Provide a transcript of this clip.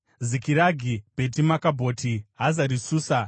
Zikiragi, Bheti Makabhoti, Hazari Susa,